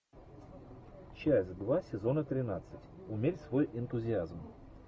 часть два сезона тринадцать умерь свой энтузиазм